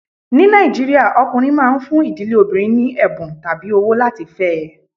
Ní Nàìjíríà, ọkùnrin máa ń fún ìdílé obìnrin ní ẹ̀bùn tàbí owó láti fẹ́ ẹ.